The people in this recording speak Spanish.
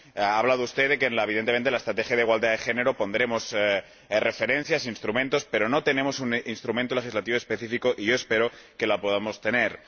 Ha hablado usted de que, evidentemente, en la estrategia de igualdad de género pondremos referencias e instrumentos, pero no tenemos un istrumento legislativo específico y yo espero que lo podamos tener.